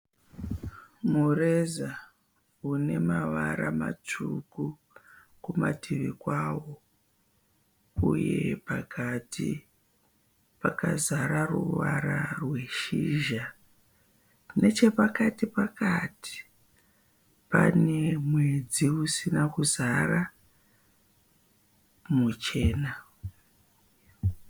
Mureza unemarava matsvuku kumativi kwawo uye pakati pakazara ruvara rweshizha, nechepakati pakati pane mwedzi usina kuzara muchena.